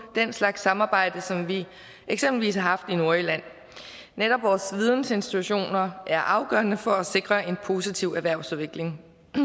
den slags samarbejde som vi eksempelvis har haft i nordjylland netop vores vidensinstitutioner er afgørende for at sikre en positiv erhvervsudvikling det